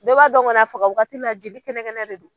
Bɛɛ b'a dɔn kɔni a faga waati la jeli kɛnɛ kɛnɛ de don.